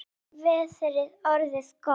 Þá var veðrið orðið gott.